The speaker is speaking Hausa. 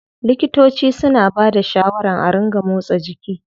Likitoci suna bada shawaran a ringa motsa jiki.